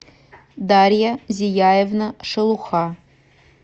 дарья зияевна шелуха